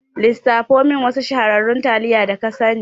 lissafo min wasu shahararrun taliya da ka sani.